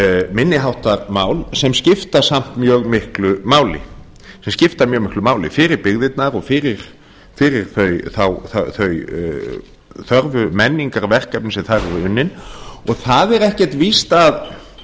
minni háttar mál sem skipta samt mjög miklu máli þau skipta mjög miklu máli fyrir byggðirnar og fyrir þau þörfu menningarverkefni sem þar eru unnin það er ekkert víst að